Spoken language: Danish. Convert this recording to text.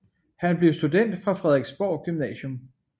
Han blev student fra Frederiksborg Gymnasium